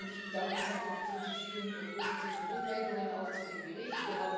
Und ich bedanke mich einfach für die vielen positiven Rückmeldungen zu dem Bericht.